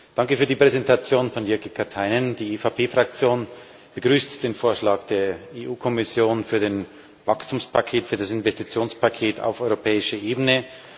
Danke für die Präsentation von Jyrki Katainen. Die EVP Fraktion begrüßt den Vorschlag der EU Kommission für den Wachstumspakt, für das Investitionspaket auf europäischer Ebene.